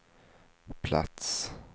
plats